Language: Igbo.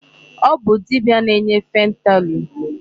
Ọ bụ dibia na-enye fentanyl.